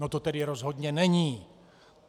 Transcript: No, to tedy rozhodně není.